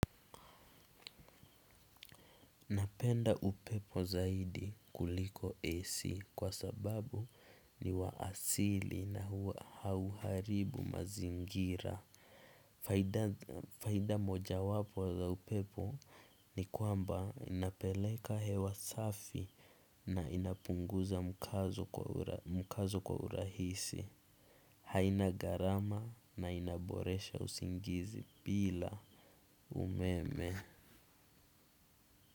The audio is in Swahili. Napenda upepo zaidi kuliko AC kwa sababu ni wa asili na hauharibu mazingira. Faida mojawapo za upepo ni kwamba inapeleka hewa safi na inapunguza mkazo kwa urahisi. Haina garama na inaboresha usingizi bila umeme.